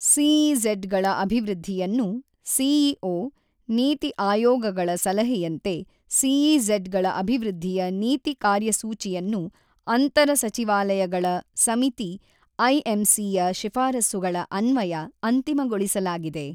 CEZ ಗಳ ಅಭಿವೃದ್ಧಿಯನ್ನು CEO, ನೀತಿ ಆಯೋಗಗಳ ಸಲಹೆಯಂತೆ ಸಿಇಝಡ್ ಗಳ ಅಭಿವೃದ್ಧಿಯ ನೀತಿ ಕಾರ್ಯಸೂಚಿಯನ್ನು ಅಂತರ ಸಚಿವಾಲಯಗಳ ಸಮಿತಿ ಐಎಂಸಿ ಯ ಶಿಫಾರಸುಗಳ ಅನ್ವಯ ಅಂತಿಮಗೊಳಿಸಲಾಗಿದೆ.